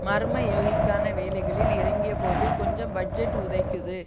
மர்ம யோகிக்கான வேலைகளில் இறங்கிய போது கொஞ்சம் பட்ஜெட் உதைக்குது